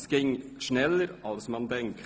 Es ging schneller, als man denkt.